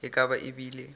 e ka ba e bile